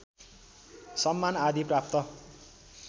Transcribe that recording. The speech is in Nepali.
सम्मान आदि प्राप्त